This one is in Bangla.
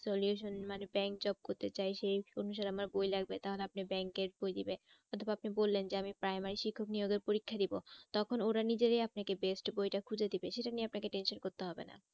Solution মানে bank job করতে চাই সেই আমার বই লাগবে তার মানে আপনি bank এর বই দেবে। অথবা আপনি বললেন আমি প্রাইমারি শিক্ষক নিয়োগের পরীক্ষা দেবো তখন ওরা নিজেরাই আপনাকে best বইটা খুঁজে দেবে সেটা নিয়ে আপনাকে tension করতে হবে না।